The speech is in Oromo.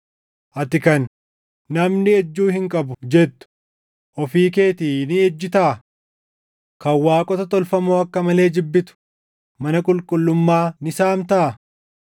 Ati kan, “Namni ejjuu hin qabu” jettu ofii keetii ni ejjitaa? Kan waaqota tolfamoo akka malee jibbitu mana qulqullummaa ni saamtaa?